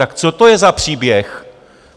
Tak co to je za příběh?